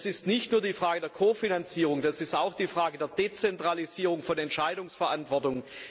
Das ist nicht nur eine Frage der Kofinanzierung, das ist auch eine Frage der Dezentralisierung von Entscheidungsverantwortung.